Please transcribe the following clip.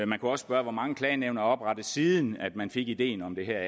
man kunne også spørge hvor mange klagenævn er der oprettet siden man fik ideen om det her